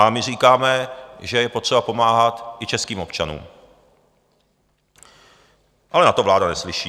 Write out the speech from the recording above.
A my říkáme, že je potřeba pomáhat i českým občanům, ale na to vláda neslyší.